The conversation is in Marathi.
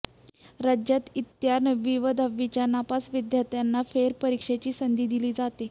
राज्यात इयत्ता नववी व दहावीच्या नापास विद्यार्थ्यांना फेरपरीक्षेची संधी दिली जाते